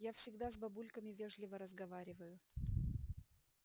я всегда с бабульками вежливо разговариваю